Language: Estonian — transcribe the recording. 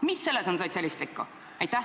Mida selles on sotsialistlikku?